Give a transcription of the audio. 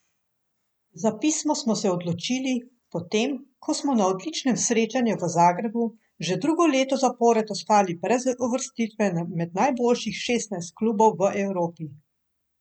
Za pismo smo se odločili, potem, ko smo na odločilnem srečanju v Zagrebu, že drugo leto zapored ostali brez uvrstitve med najboljših šestnajst klubov v Evropi.